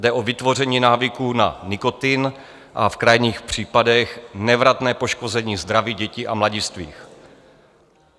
Jde o vytvoření návyku na nikotin a v krajních případech nevratné poškození zdraví dětí a mladistvých.